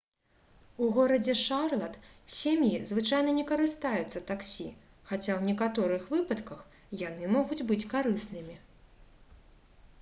у горадзе шарлат сем'і звычайна не карыстаюцца таксі хаця ў некаторых выпадках яны могуць быць карыснымі